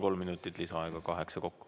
Kolm minutit lisaaega, kaheksa kokku.